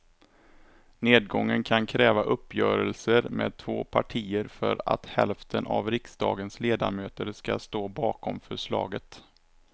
Nedgången kan kräva uppgörelser med två partier för att hälften av riksdagens ledamöter ska stå bakom förslaget.